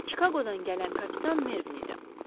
Bu Çikaqodan gələn kapitan Mervin idi.